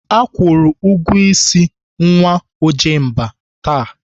Akwụru ụgwọ ịsị nwa Ojemba taa.